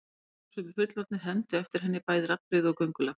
Krakkar og sumir fullorðnir hermdu eftir henni, bæði raddbrigði og göngulag.